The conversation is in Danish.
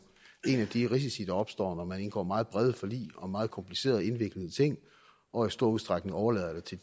en af de risici der opstår når man indgår meget brede forlig om meget komplicerede og indviklede ting og i stor udstrækning overlader det til